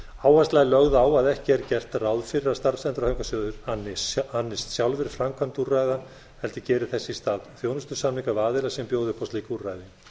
áhersla er lögð á að ekki er gert ráð fyrir að starfsendurhæfingarsjóðir annist sjálfir framkvæmd úrræða heldur geri þess í stað þjónustusamninga við aðila sem bjóða upp á slík úrræði